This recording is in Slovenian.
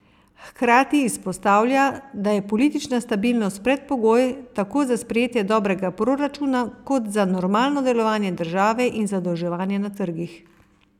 Hkrati izpostavlja, da je politična stabilnost predpogoj tako za sprejetje dobrega proračuna kot za normalno delovanje države in zadolževanje na trgih.